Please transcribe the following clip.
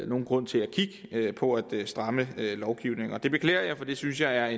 nogen grund til at kigge på at stramme lovgivningen og det beklager jeg for det synes jeg er